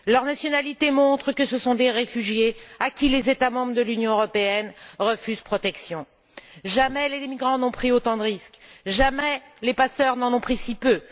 Leur nationalité montre que ce sont des réfugiés à qui les États membres de l'Union européenne refusent protection. Jamais les émigrants n'ont pris autant de risques, jamais les passeurs n'en ont pris si peu.